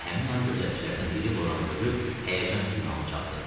Elə həmin an gözətçilərdən biri Loranı görüb həyəcan siqnalını çaldı.